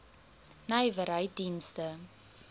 nywerheiddienste